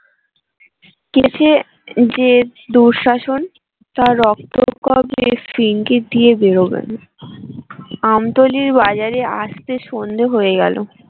কে সে যে দুঃশাসন তার রক্ত কগের দিয়ে বেরোবেন আমতলীর বাজারে আস্তে সন্ধ্যে হয়ে গেলো